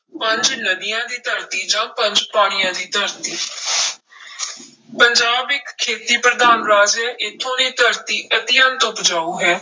ਪੰਜ ਨਦੀਆਂ ਦੀ ਧਰਤੀ ਜਾਂ ਪੰਜ ਪਾਣੀਆਂ ਦੀ ਧਰਤੀ ਪੰਜਾਬ ਇੱਕ ਖੇਤੀ ਪ੍ਰਧਾਨ ਰਾਜ ਹੈ ਇੱਥੋਂ ਦੀ ਧਰਤੀ ਅਤਿਅੰਤ ਉਪਜਾਊ ਹੈ।